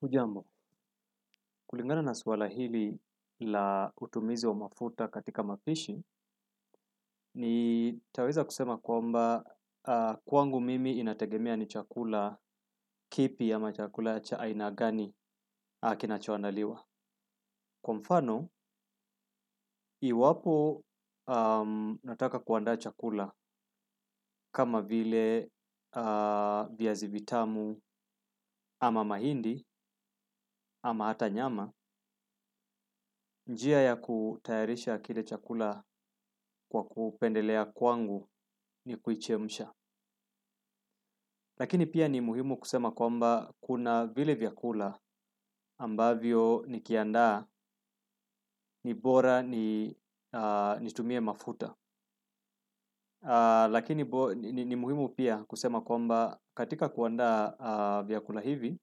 Hujambo, kulingana na swala hili la utumizi wa mafuta katika mafishi, ni taweza kusema kwamba kwangu mimi inategemea ni chakula kipi ama chakula cha aina gani kinachoandaliwa. Kwa mfano, iwapo nataka kuanda chakula kama vile viazi vitamu ama mahindi ama hata nyama, njia ya kutayarisha kile chakula kwa kupendelea kwangu ni kuichemsha. Lakini pia ni muhimu kusema kwamba kuna vile vyakula ambavyo nikianda ni bora nitumie mafuta. Lakini ni muhimu pia kusema kwamba katika kuanda vyakula hivi,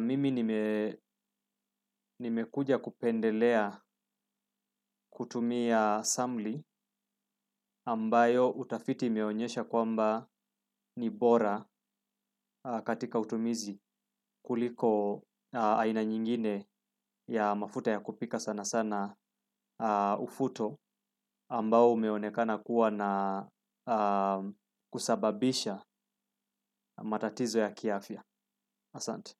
mimi nimekuja kupendelea kutumia samli ambayo utafiti imeonyesha kwamba ni bora katika utumizi kuliko aina nyingine ya mafuta ya kupika sana sana ufuto ambao umeonekana kuwa na kusababisha matatizo ya kiafya. Asante.